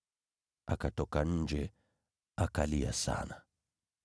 Naye akaenda nje, akalia kwa majonzi.